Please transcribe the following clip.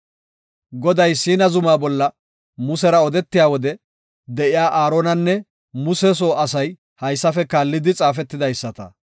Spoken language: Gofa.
Goday Siina zuma bolla Musera odetiya wode de7iya Aaronanne Muse soo asay haysafe kaallidi xaafetidaysa.